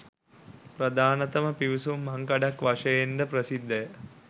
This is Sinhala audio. ප්‍රධානතම පිවිසුම් මංකඩක් වශයෙන් ද ප්‍රසිද්ධ ය